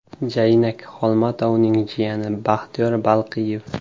Jaynak Xolmatovning jiyani Baxtiyor Balqiyev.